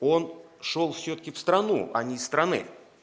он шёл всё-таки в страну а не из страны